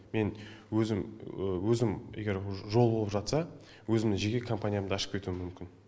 мен өзім өзім егер жол болып жатса өзімнің жеке компаниямды ашып кетуім мүмкін